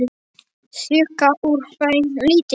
Sjúga úr þeim lífið.